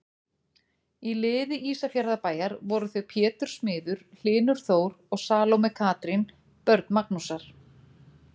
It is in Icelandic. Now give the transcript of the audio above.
Í liði Ísafjarðarbæjar voru þau Pétur smiður, Hlynur Þór og Salóme Katrín, börn Magnúsar.